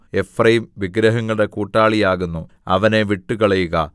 Ephraim വിഗ്രഹങ്ങളുടെ കൂട്ടാളിയാകുന്നു അവനെ വിട്ടുകളയുക